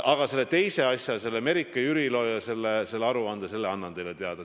Aga selle teise asja, mis puudutab Merike Jürilot ja seda aruannet, ma annan teile teada.